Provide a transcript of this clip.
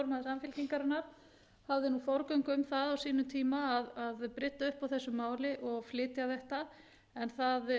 samfylkingarinnar hafði forgöngu um það á sínum tíma að brydda upp á þessu máli og flytja þetta en það